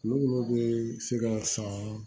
Kulo bɛ se ka san